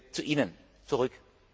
zu Ihnen